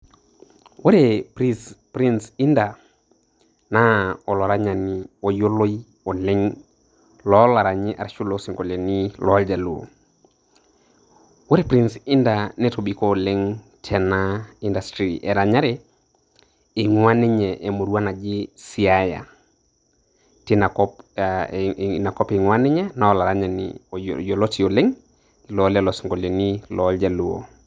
Ore Prince Indah, naa olaranyani oyioloi oleng' looranyi arashu losinkolioitin loljaluo, ore Prince Indah netobiko oleng' tena industry eranyare eing'ua ninye eemurua naji Siaya teina kop eingua ninye, naa olaranyani yioloti oleng' loo lelo sinkoliotin loljaluo.